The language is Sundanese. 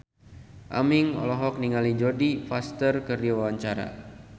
Aming olohok ningali Jodie Foster keur diwawancara